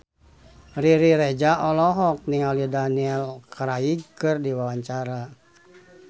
Riri Reza olohok ningali Daniel Craig keur diwawancara